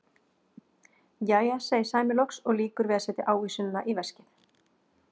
Jæja, segir Sæmi loks og lýkur við að setja ávísunina í veskið.